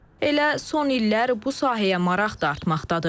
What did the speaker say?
Elə son illər bu sahəyə maraq da artmaqdadır.